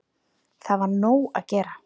Þá var nóg að gera.